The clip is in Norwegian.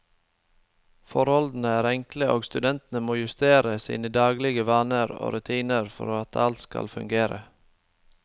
Forholdene er enkle, og studentene må justere sine daglige vaner og rutiner for at alt skal fungere.